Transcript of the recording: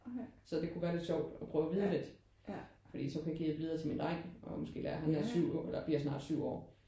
Så det kunne være lidt sjovt at prøve vide lidt fordi så kunne jeg give det videre til min dreng og måske lære han er 7 år eller bliver snart 7 år